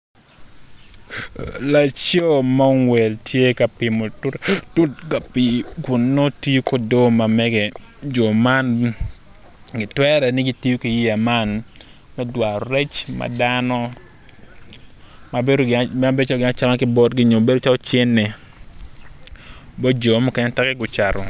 Laco ma ongwel tye ka pimo tut ka pii kun nongo tiyo ki odoo ma mege jo man gitwere ni gitiyo ki yeya man me dwaro rec ma dano ma bedo calo gin acama ki botgi nyo bedo calo cente teke gucato